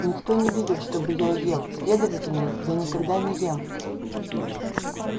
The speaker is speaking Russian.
никто не видел чтобы я ел следовательно я никогда не ем